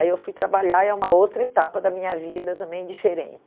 Aí eu fui trabalhar e é uma outra etapa da minha vida também